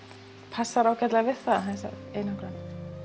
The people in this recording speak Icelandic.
passað ágætlega við það þessa einangrun